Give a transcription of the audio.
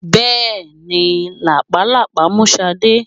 Bẹ́ẹ̀ni, làpálàpá mú Sade?